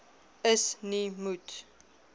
is nie moet